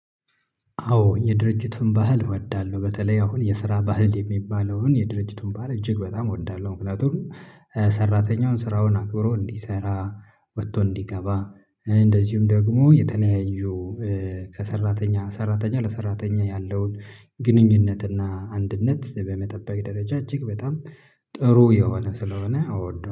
አዎ የድርጅቱን ባህል እወዳለሁ፤ በተለይ አሁን የስራ ባህል የሚባለውን የድርጅቱን ባህል እጅግ በጣም እወዳለሁ። ምክንያቱም ሰራተኛውን ስራውን አክብሮ እንዲሰራ፤ ወጥቶ እንዲገባ፤ እንደዚሁም ደግሞ የተለያዩ ሰራተኛ ለሰራተኛ ያለውን ግንኙነት እና አንድነት በመጠበቅ ደረጃ እጅግ በጣም ጥሩ የሆነ ስለሆነ አወደው